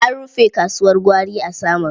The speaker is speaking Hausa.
An rufe kasuwar gwari ta Samaru.